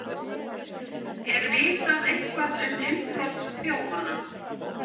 Er vitað eitthvað um innbrotsþjófana?